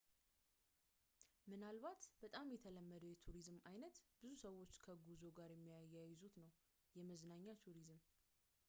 ምናልባትም በጣም የተለመደው የቱሪዝም ዓይነት ብዙ ሰዎች ከጉዞ ጋር የሚያያዙት ነው የመዝናኛ ቱሪዝም